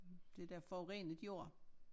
Det der forurenet jord